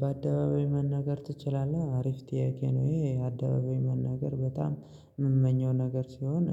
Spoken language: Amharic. በአደባባይ መናገር ትችላለህ? አሪፍ ጥያቄ ነው ይሄ አደባባይ መናገር በጣም የምመኘው ነገር ሲሆን